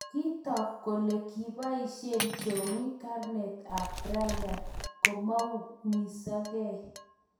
Kitook kole kipaisie Jowie karneet ap Brian koumisangei